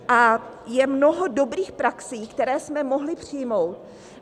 A je mnoho dobrých praxí, které jsme mohli přijmout.